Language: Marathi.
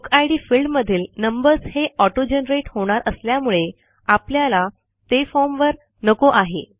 बुकिड फील्ड मधील नंबर्स हे ऑटोजनरेट होणार असल्यामुळे आपल्याला ते फॉर्म वर नको आहे